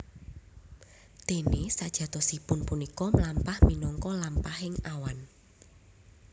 Déné sajatosipun punika mlampah minangka lampahaning awan